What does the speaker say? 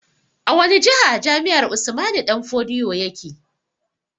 A wani jiha jami'ar Usman danfodiyo yake?